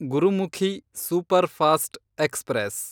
Gurmukhi superfast express